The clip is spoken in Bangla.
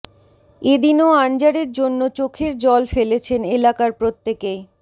এ দিনও আনজারের জন্য চোখের জল ফেলেছেন এলাকার প্রত্যেকেই